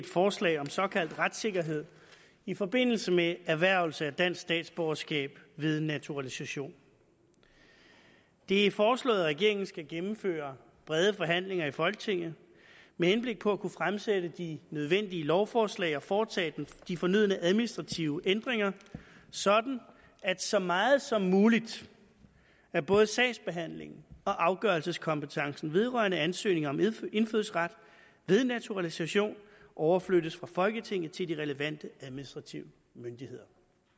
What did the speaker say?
forslag om såkaldt retssikkerhed i forbindelse med erhvervelse af dansk statsborgerskab ved naturalisation det er foreslået at regeringen skal gennemføre brede forhandlinger i folketinget med henblik på at kunne fremsætte de nødvendige lovforslag og foretage de fornødne administrative ændringer sådan at så meget som muligt af både sagsbehandlingen og afgørelseskompetencen vedrørende ansøgninger om indfødsret ved naturalisation overflyttes fra folketinget til de relevante administrative myndigheder